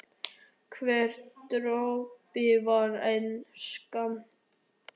Hver dropi var einn skammtur af